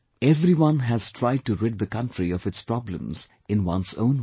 Everyone has tried to rid the country of its problems in one's own way